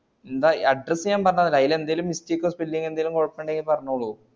address ഞാൻ പറഞ്ഞന്നല്ലേ അതിലെന്തെങ്കിലും mistake ക്കോ spelling ങ്ങോ കൊയപ്പണ്ടങ്കി പറഞ്ഞോള്ളൂ